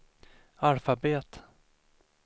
alfabet